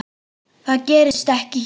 Það gerist ekki hér.